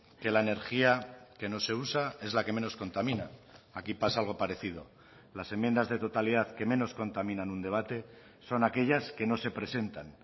que la energía que no se usa es la que menos contamina aquí pasa algo parecido las enmiendas de totalidad que menos contaminan un debate son aquellas que no se presentan